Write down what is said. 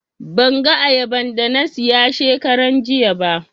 Ban ga ayaban da na siya shekaran jiya ba